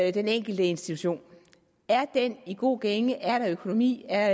i den enkelte institution er den i god gænge er der økonomi er